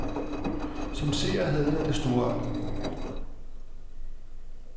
Som seer havde jeg det storartet.